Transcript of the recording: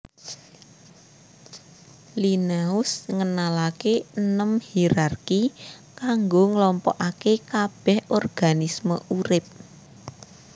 Linneaus ngenalaké enem hierarki kanggo nglompokaké kabèh organisme urip